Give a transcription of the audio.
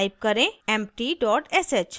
type करें empty dot sh